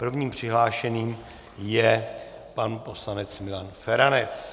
Prvním přihlášeným je pan poslanec Milan Feranec.